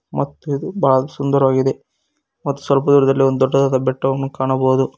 ಮತ್ತು ಬಾಳ್ ಸುಂದರವಾಗಿದೆ ಮತ್ ಸ್ವಲ್ಪ ದೂರದಲ್ಲಿ ಒಂದ್ ದೊಡ್ಡದಾದ ಬೆಟ್ಟವನ್ನು ಕಾಣಬಹುದು.